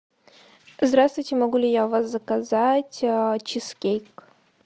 здравствуйте могу ли я у вас заказать чизкейк